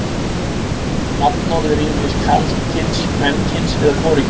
Nafnorð eru ýmist karlkyns, kvenkyns eða hvorugkyns.